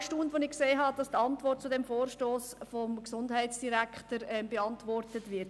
Ich war auch erstaunt, als ich sah, dass die Antwort zu diesem Vorstoss vom Gesundheitsdirektor erteilt wurde.